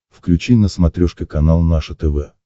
включи на смотрешке канал наше тв